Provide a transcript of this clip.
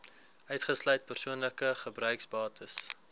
uitgesluit persoonlike gebruiksbates